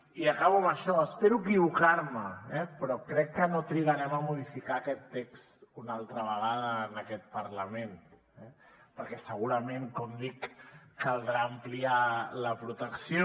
i acabo amb això i espero equivocar me però crec que no trigarem a modificar aquest text una altra vegada en aquest parlament perquè segurament com dic caldrà ampliar la protecció